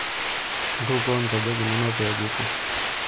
Ntukuo nkejek inono pee kipuo.